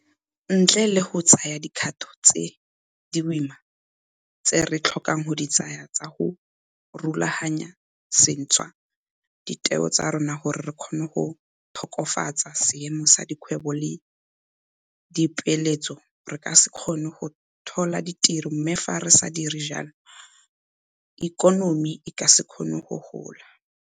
Ntle le go tsaya dikgato tse di boima tse re tlhokang go di tsaya tsa go rulaganya sešwa ditheo tsa rona gore re kgone go tokafatsa seemo sa dikgwebo le dipeeletso re ka se kgone go tlhola ditiro mme fa re sa dire jalo ikonomi e ka se kgone go gola.